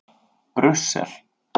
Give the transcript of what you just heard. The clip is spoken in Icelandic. Brussel